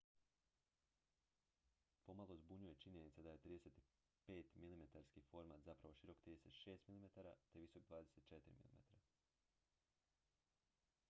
pomalo zbunjuje činjenica da je 35-milimetarski format zapravo širok 36 mm te visok 24 mm